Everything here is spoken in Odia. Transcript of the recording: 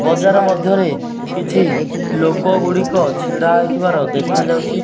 ବଜାର ମଧ୍ୟରେ କିଛି ଲୋକ ଗୁଡ଼ିକ ଛିଡା ହେଇଥିବାର ଦେଖାଯାଉଚି ।